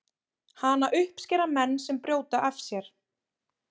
Hana uppskera menn sem brjóta af sér.